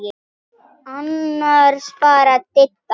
Annars bara Didda.